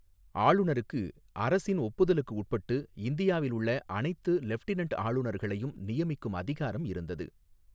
ஆளுநருக்கு, அரசின் ஒப்புதலுக்கு உட்பட்டு, இந்தியாவில் உள்ள அனைத்து லெஃப்டினன்ட் ஆளுநர்களையும் நியமிக்கும் அதிகாரம் இருந்தது.